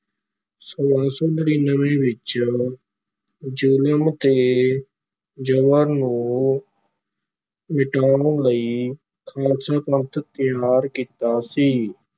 ਛੋਲਾਂ ਸੌ ਨੜ੍ਹਿਨਵੇਂ ਵਿਚ ਜ਼ੁਲਮ ਤੇ ਜਬਰ ਨੂੰ ਮਿਟਾਉਣ ਲਈ ਖਾਲਸਾ ਪੰਥ ਤਿਆਰ ਕੀਤਾ ਸੀ।